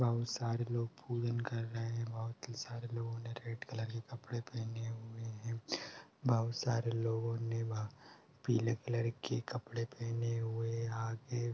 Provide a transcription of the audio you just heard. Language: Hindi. बहोत सारें लोग पूजन कर रहें हैं। बहोत ही सारे लोगों ने रेड कलर के कपड़े पहने हुए हैं। बहोत सारे लोगों ने पीले कलर के कपड़े पहने हुए हैं। आगे --